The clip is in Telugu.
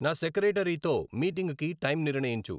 నా సెక్రెటరీతో మీటింగ్ కి టైం నిర్ణయించు.